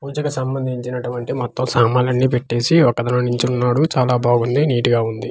పూజకు సంబంధించినటువంటి మొత్తం సామాన్లన్నీ పెట్టేసి ఒకతను నించున్నాడు చాలా బాగుంది నీటిగా ఉంది.